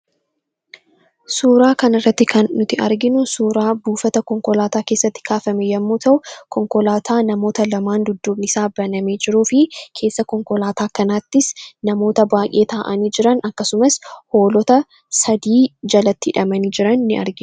Suuraa kanarratti kan arginu suuraa buufata konkolaataa keessatti kaafame yoo ta’u, konkolaataa namoota lamaan dudduubni isaa banshee jiruu fi keessaa konkolaataa kanattis namoota baay'ee taa'anii jiran akkasumas Hoolota sadii jalatti hidhamanii jiran ni argina.